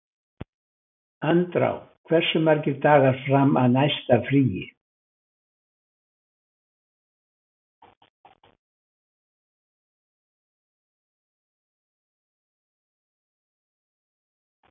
Andrá, hversu margir dagar fram að næsta fríi?